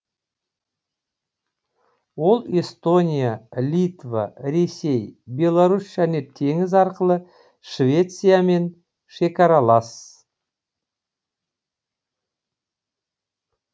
ол эстония литва ресей беларусь және теңіз арқылы швециямен шекаралас